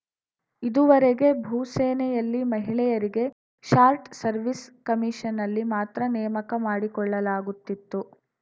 ಇದುವರೆಗೆ ಭೂಸೇನೆಯಲ್ಲಿ ಮಹಿಳೆಯರಿಗೆ ಶಾರ್ಟ್‌ ಸವೀರ್‍ಸ್‌ ಕಮೀಷನ್‌ನಲ್ಲಿ ಮಾತ್ರ ನೇಮಕ ಮಾಡಿಕೊಳ್ಳಲಾಗುತ್ತಿತ್ತು